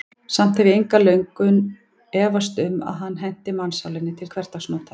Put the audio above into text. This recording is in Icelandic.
Samt hef ég löngum efast um, að hann henti mannssálinni til hversdagsnota.